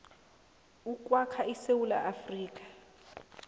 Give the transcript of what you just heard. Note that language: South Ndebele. ukwakha isewula afrika